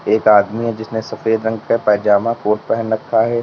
एक आदमी है जिसने सफेद रंग का पैजामा कोट पहन रखा है।